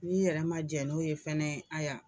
N'i yɛrɛ man jɛ n'o ye fana haya.